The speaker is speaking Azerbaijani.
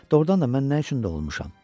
Doğrudan da mən nə üçün doğulmuşam?